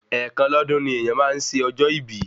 Ẹ̀ẹ̀kan lọ́dún ni èèyàn máa ń ṣe ọjọ́ ìbí